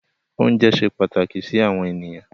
Oúnjẹ ṣe pàtàkì sí àwọn ènìyàn.